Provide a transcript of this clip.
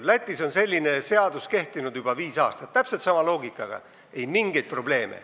Lätis on täpselt sama loogikaga seadus juba viis aastat kehtinud ja ei mingeid probleeme.